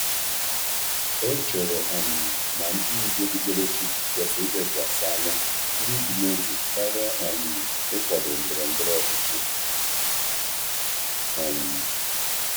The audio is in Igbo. Ọ chere na ndị ndú okpukperechi kwesịrị ilekwasị anya n’ịdị n’otu karịa ịkwado ndọrọ ndọrọ ọchịchị.